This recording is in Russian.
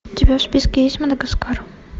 у тебя в списке есть мадагаскар